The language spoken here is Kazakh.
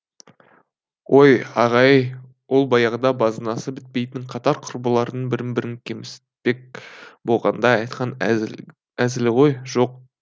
ой аға ай ол баяғыда базынасы бітпейтін қатар құрбылардың бірін бірі кемсітпек болғанда айтқан әзілі ғой жоқ